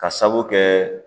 Ka sabu kɛ